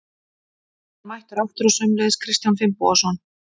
Bjarni er mættur aftur og sömuleiðis Kristján Finnbogason.